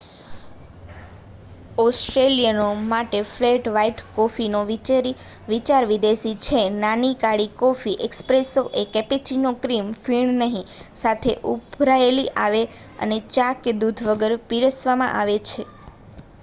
ઓસ્ટ્રેલિયનો માટે flat white કોફીનો વિચાર વિદેશી છે. નાની કાળી કોફી 'એસ્પ્રેસો' છે કેપેચિનો ક્ર્રિમ ફીણ નહિ સાથે ઉભરાયેલી આવે છે અને ચા ને દૂધ વગર પીરસવામાં આવે છે